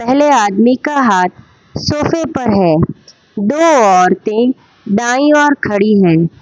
पहले आदमी का हाथ सोफे पर है दो औरतें दाई ओर खड़ी हैं।